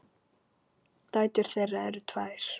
Dætur þeirra eru tvær.